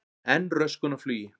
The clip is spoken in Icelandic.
Enn röskun á flugi